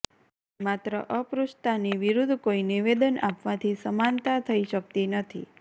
માત્ર અસ્પૃશ્તાની વિરુદ્ધ કોઈ નિવેદન આપવાથી સમાનતા થઈ શકતી નથી